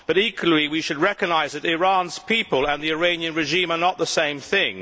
But, equally, we should recognise that Iran's people and the Iranian regime are not the same thing.